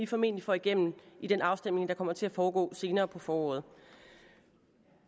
formentlig får igennem i den afstemning der kommer til at foregå senere på foråret